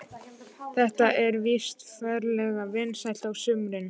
Þetta er víst ferlega vinsælt á sumrin.